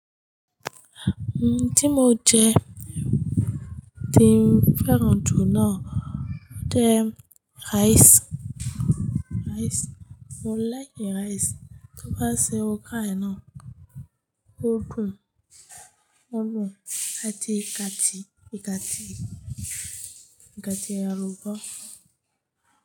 Nó tí mo jẹ, tí mo féràn jù náà ni rice. Mo like rice, tó bá ṣe okra iná, ó dùn, ó dùn àti igati, igati, igati àlùbọ́sa.